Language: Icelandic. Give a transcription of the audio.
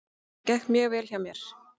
Það gekk mjög vel hjá mér.